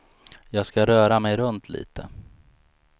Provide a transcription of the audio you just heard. Jag ska röra mig runt lite.